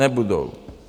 Nebudou.